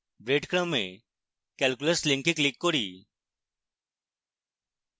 breadcrumb এ calculus link click করি